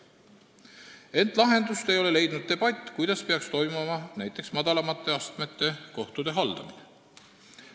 Samas ei ole lahendust leidnud debatt, kuidas peaks toimuma madalamate astmete kohtute haldamine.